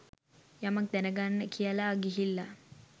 යමක් දැනගන්න කියලා ගිහිල්ල.